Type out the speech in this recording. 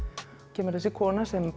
kemur þessi kona sem